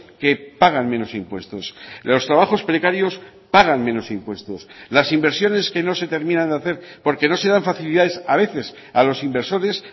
que pagan menos impuestos los trabajos precarios pagan menos impuestos las inversiones que no se terminan de hacer porque no se dan facilidades a veces a los inversores